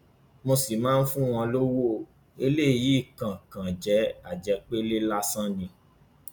mo sì máa fún wọn lọwọ o eléyìí kan kan jẹ àjẹpẹlẹ lásán ni